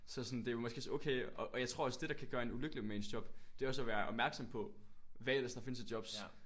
Så sådan det er jo måske også okay og jeg tror også det der kan gøre en ulykkelig med ens job det er også at være opmærksom på hvad ellers der findes af jobs